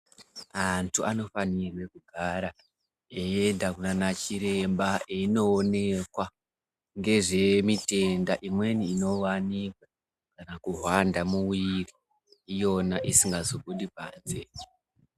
Antu anofanirwa kugara eienda kunana chiremba eindoonekwa nezve chitenda imweni inowanikwa kana kuhwanda muviri iyona isingazobudi panze.